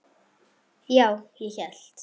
Já, ég hélt.